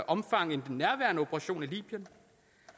omfattende end den nærværende operation i libyen